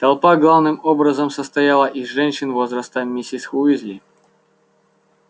толпа главным образом состояла из женщин возраста миссис уизли